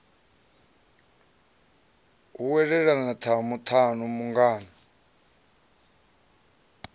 hu welelele tamu tamu mungana